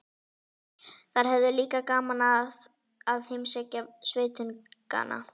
Þær höfðu líka gaman af að heimsækja sveitungana.